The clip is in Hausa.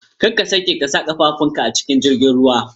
Kada ka sake ka sa ƙafafun ka a cikin jirgin ruwan